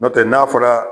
N'o tɛ n'a fɔra